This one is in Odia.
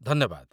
ଧନ୍ୟବାଦ।